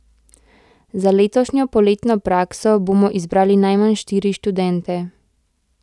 Za letošnjo poletno prakso bomo izbrali najmanj štiri študente.